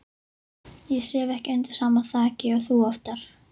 Ég sef ekki undir sama þaki og þú oftar.